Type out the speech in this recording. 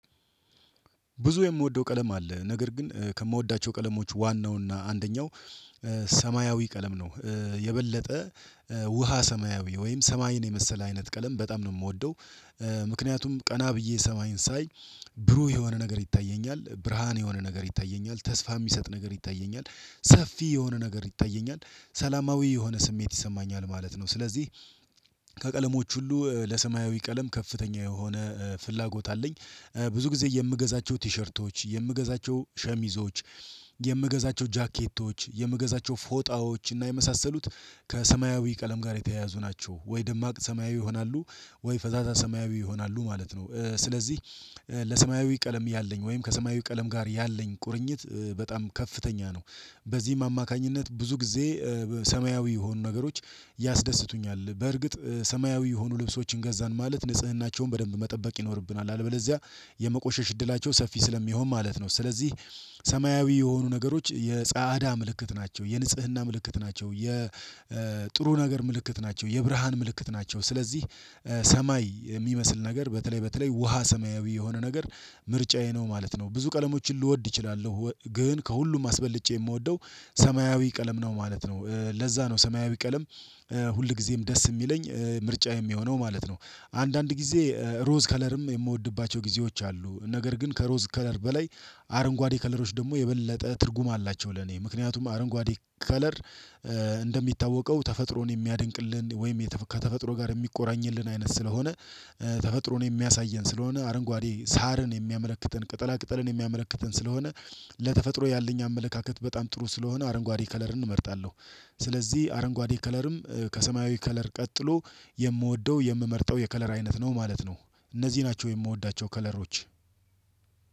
ብዙ የምወደው ቀለም አለ ነገር ግን ከምወዳቸው ቀለሞች ዋናው እና አንደኛው ሰማያዊ ቀለም ነው የበለጠ ውሃ ሰማያዊ ወይም ሰማይን የመሰለ አይነት ቀለም በጣም ነው የምወደው። ምክንያቱም ቀና ብዬ ሰማይን ሳይ ብሩህ የሆነ ነገር ይታየኛል ብርሃን የሆነ ነገር ይታየኛል ተስፋ የሚሰጥ ነገር ይታየኛል ሰፊ የሆነ ነገር ይታየኛል ሰላማዊ የሆነ ስሜት ይሰማኛል ማለት ነው። ስለዚህ ከቀለሞች ሁሉ ለሰማያዊ ቀለም ከፍተኛ የሆነ ፍላጎት አለኝ። ብዙ ጊዜ የምገዛቸው ቲሸርቶች የምገዛቸው ሸሚዞች የምገዛቸው ጃኬቶች የምገዛቸው ፎጣዎች እና የመሳሰሉት ከሰማያዊ ቀለም ጋር የተያያዙ ናቸው ወይ ደማቅ ሰማያዊ ይሆናሉ ወይ ፈዛዛ ሰማያዊ ይሆናሉ ማለት ነው። ስለዚህ ለሰማያዊ ቀለም ያለኝ ወይም ከሰማያዊ ቀለም ጋር ያለኝ ቁርኝት በጣም ከፍተኛ ነው። በዚህም አማካኝነት ብዙ ጊዜ ሰማያዊ የሆኑ ነገሮች ያስደስቱኛል። በርግጥ ሰማያዊ የሆኑ ልብሶችን ገዛን ማለት ንጽህናቸውን በደንብ መጠበቅ ይኖርብናል አለበለዚያ የመቆሸሽ እድላቸው ሰፊ ስለሚሆን ማለት ነው። ስለዚህ ሰማያዊ የሆኑ ነገሮች የጻዕዳ ምልክት ናቸው የንጽህና ምልክት ናቸው የጥሩ ነገር ምልክት ናቸው የብርሃን ምልክት ናቸው። ስለዚህ ሰማይ የሚመስል ነገር በተለይ በተለይ ውሃ ሰማያዊ የሆነ ነገር ምርጫዬ ነው ማለት ነው። ብዙ ቀለሞችን ልወድ እችላለሁ ግን ከሁሉም አስበልጬ የምወደው ሰማያዊ ቀለም ነው ማለት ነው። ለዛ ነው ሰማያዊ ቀለም ሁል ጊዜም ደስ የሚለኝ ምርጫ የሚሆነው ማለት ነው። አንዳንድ ጊዜ ሮዝ ከለርም የምወድባቸው ጊዜዎች አሉ ነገር ግን ከሮዝ ከለር በላይ አረንጓዴ ከለሮች ደግሞ የበለጠ ትርጉም አላቸው። ለኔ ምክንያቱም አረንጓዴ ከለር እንደሚታወቀው ተፈጥሮን የሚያደንቅልን ወይም ከተፈጥሮ ጋር የሚቆራኝልን አይነት ስለሆነ። ተፈጥሮን የሚያሳየን ስለሆነ አረንጓዴ ሳርን የሚያመለክትን ቅጠላ ቅጠልን የሚያመለክትን ስለሆነ ለተፈጥሮ ያለኝ አመለካከት በጣም ጥሩ ስለሆነ አረንጓዴ ከለርን እመርጣለሁ። ስለዚህ አረንጓዴ ከለርም ከሰማያዊ ከለር ቀጥሎ የምወደው የምመርጠው የከለር አይነት ነው ማለት ነው። እነዚህ ናቸው የምወዳቸው ከለሮች።